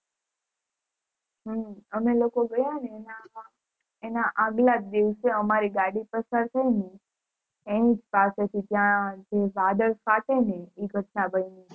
હમ અમે લોકો ગયા ને એના અગલાજ દિવસે અમારી ગાડી પસાર થય ને એની પાસે થી જે વડલા ફાટે ને એ ઘટના બની હતી